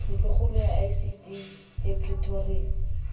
ntlokgolo ya icd e pretoria